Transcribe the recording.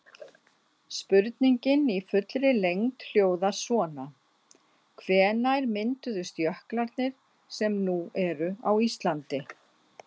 Spurningin í fullri lengd hljóðar svona: Hvenær mynduðust jöklarnir sem nú eru á Íslandi?